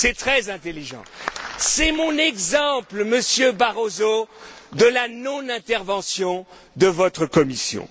C'est mon exemple, Monsieur Barroso, de la non intervention de votre Commission.